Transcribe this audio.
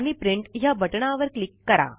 आणि प्रिंट ह्या बटणावर क्लिक करा